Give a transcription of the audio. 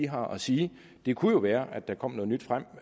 har at sige det kunne være at der kom noget nyt frem